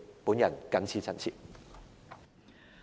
我謹此陳辭。